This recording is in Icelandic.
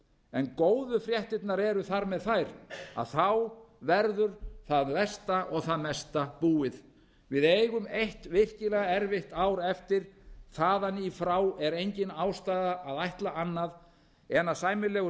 en góðu fréttirnar eru þar með þær að þá verður það versta og það mesta búið við eigum eitt virkilega erfitt ár eftir þaðan í frá er engin ástæða að ætla annað en að sæmilegur